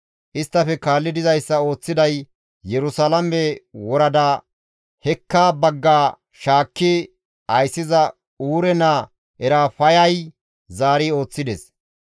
Isttafe kaalli dizayssa ooththiday Yerusalaame worada hekka bagga shaakki ayssiza Uure naa Erafayay zaari ooththides.